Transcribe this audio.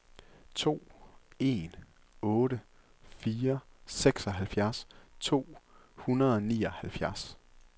to en otte fire seksoghalvfjerds to hundrede og nioghalvfjerds